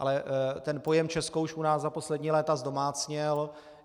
Ale ten pojem Česko už u nás za poslední léta zdomácněl.